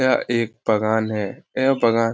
यह एक पघान है यह पघान --